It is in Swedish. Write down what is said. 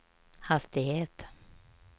hastighet